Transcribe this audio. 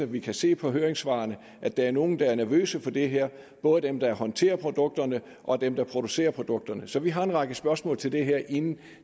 vi kan se på høringssvarene at der er nogle der er nervøse for det her både dem der håndterer produkterne og dem der producerer produkterne så vi har en række spørgsmål til det her inden